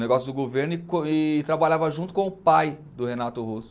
Negócio do governo e trabalhava junto com o pai do Renato Russo.